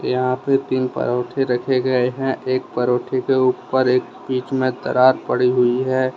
यहां पे तीन पराठे रखे गए हैं एक पराठे के ऊपर एक बीच में दरार पड़ी हुई है।